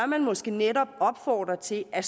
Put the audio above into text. man måske netop opfordre til at